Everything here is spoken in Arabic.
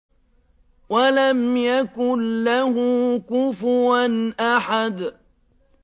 وَلَمْ يَكُن لَّهُ كُفُوًا أَحَدٌ